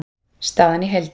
Staðan í heild